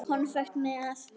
Konfekt með.